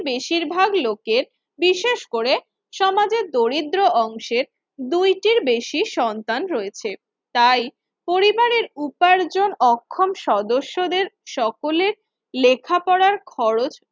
বেশিরভাগ লোকের বিশেষ করে সমাজের দরিদ্র অংশের দুইটির বেশি সন্তান রয়েছে। তাই পরিবারের উপার্জন অক্ষম সদস্যদের সকলের লেখাপড়ার খরচ